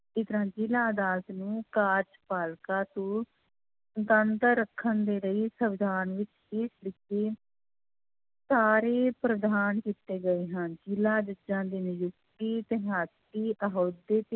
ਜ਼ਿਲ੍ਹਾ ਅਦਾਲਤ ਨੂੰ ਕਾਰਜਪਾਲਿਕਾ ਤੋਂ ਸੁਤੰਤਰ ਰੱਖਣ ਦੇ ਲਈ ਸਵਿਧਾਨ ਵਿੱਚ ਹੇਠ ਲਿਖੇ ਪ੍ਰਧਾਨ ਕੀਤੇ ਗਏ ਹਨ ਜ਼ਿਲ੍ਹਾ ਜੱਜਾਂ ਦੀ ਨਿਯੁਕਤੀ